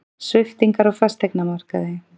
Sviptingar á fasteignamarkaði